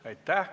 Aitäh!